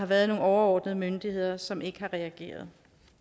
været nogle overordnede myndigheder som ikke har reageret